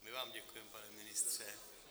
My vám děkujeme, pane ministře.